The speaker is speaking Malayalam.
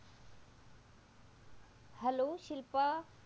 hello ശിൽപ